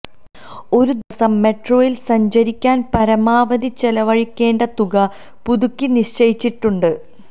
ഒരു ദിവസം മെട്രോയില് സഞ്ചരിക്കാന് പരമാവധി ചെലവഴിക്കേണ്ട തുക പുതുക്കി നിശ്ചയിച്ചിട്ടുണ്ട്